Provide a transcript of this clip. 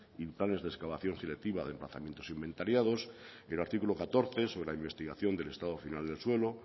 y planes de excavación creativa de emplazamientos inventariados el artículo catorce sobre la investigación del estado final del suelo